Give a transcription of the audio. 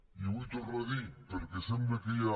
i ho vull tornar a dir perquè sembla que ja